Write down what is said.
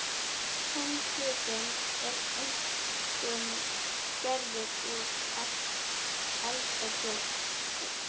Hinn hlutinn er einkum gerður úr eldfjallaösku.